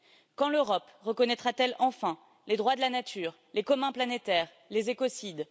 Quand l'Europe reconnaîtra t elle enfin les droits de la nature, les communs planétaires, les écocides?